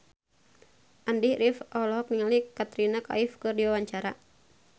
Andy rif olohok ningali Katrina Kaif keur diwawancara